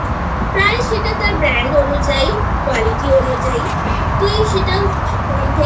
price সেটা তার brand অনুযায়ী quality অনুযায়ী তুই সেটাও কম থেকে